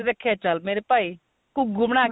ਰੱਖਿਆ ਚੱਲ ਮੇਰੇ ਭਾਈ ਘੁੱਗੂ ਬਣਾਕੇ